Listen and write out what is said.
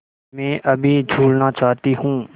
मैं अभी झूलना चाहती हूँ